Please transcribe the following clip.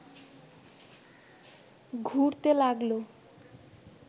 ঘুরতে লাগল